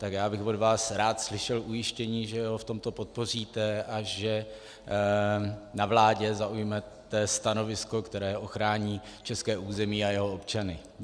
Tak já bych od vás rád slyšel ujištění, že ho v tomto podpoříte a že na vládě zaujmete stanovisko, které ochrání české území a jeho občany.